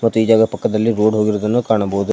ಮತ್ತು ಈ ಜಾಗ ಪಕ್ಕದಲ್ಲಿ ರೋಡ್ ಹೋಗಿರುವುದನ್ನು ಕಾಣಬಹುದು.